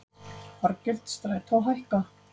Fargjöld Strætó hækka